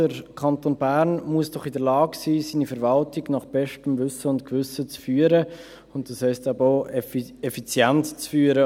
Der Kanton Bern muss doch in der Lage sein, seine Verwaltung nach bestem Wissen und Gewissen zu führen, und das heisst aber auch, effizient zu führen.